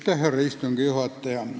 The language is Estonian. Härra istungi juhataja!